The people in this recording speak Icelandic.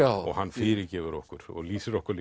og hann fyrirgefur okkur og lýsir okkur